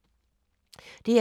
DR2